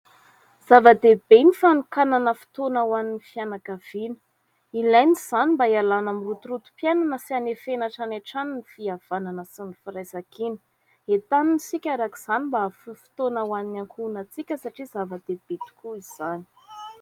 Zava-dehibe ny fanokanana fotoana ho an'ny fianakaviana. Ilaina izany, mba hialana amin'ny rotorotom-piainana, sy hanefena hatranihatrany ny fihavanana sy ny firaisankina. Entanina isika araka izany, mba hahafoy fotoana ho an'ny ankohonantsika, satria zava-dehibe tokoa izany.